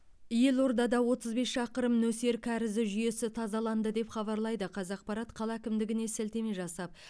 елордада отыз бес шақырым нөсер кәрізі жүйесі тазаланды деп хабарлайды қазақпарат қала әкімдігіне сілтеме жасап